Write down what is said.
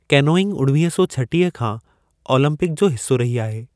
Canoeing उणवीह सौ छटीह खां ओलंपिक जो हिस्सा रही आहे।